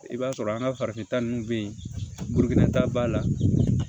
I b'a sɔrɔ an ka farafinta ninnu bɛ yen burukina ta b'a la